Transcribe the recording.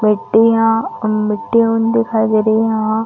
मिट्टी हा अम मिट्टी दिखाई दे रही है